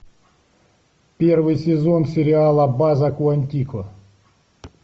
первый сезон сериала база куантико